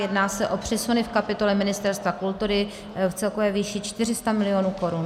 Jedná se o přesuny v kapitole Ministerstva kultury v celkové výši 400 mil. korun.